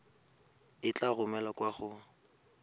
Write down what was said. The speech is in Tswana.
e tla romelwa kwa go